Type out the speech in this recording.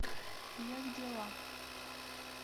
як дела